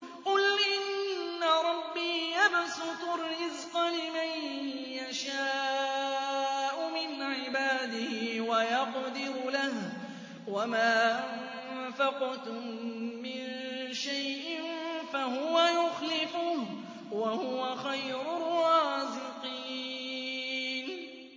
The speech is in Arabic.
قُلْ إِنَّ رَبِّي يَبْسُطُ الرِّزْقَ لِمَن يَشَاءُ مِنْ عِبَادِهِ وَيَقْدِرُ لَهُ ۚ وَمَا أَنفَقْتُم مِّن شَيْءٍ فَهُوَ يُخْلِفُهُ ۖ وَهُوَ خَيْرُ الرَّازِقِينَ